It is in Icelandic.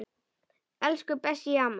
Elsku Bessý amma.